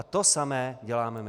A to samé děláme my.